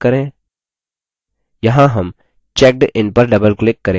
यहाँ हम checkin पर double click करेंगे